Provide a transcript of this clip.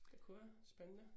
Det kunne jeg, spændende